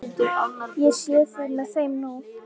Ég sé þig með þeim nú.